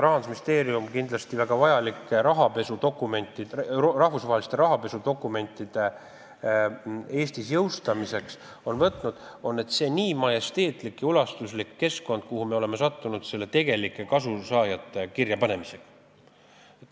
Rahandusministeerium on kindlasti väga vajalike rahvusvaheliste rahapesuga seotud dokumentide Eestis jõustamiseks ette võtnud selle, et me nii majesteetlikku ja ulatuslikku keskkonda paneme kirja tegelikke kasusaajaid.